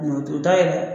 O da yɛlɛ